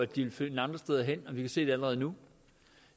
de vil finde andre steder hen og vi kan se det allerede nu